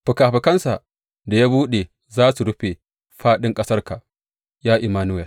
Fikafikansa da ya buɗe za su rufe fāɗin ƙasarka, Ya Immanuwel!